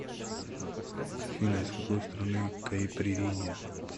афина из какой страны каиприринья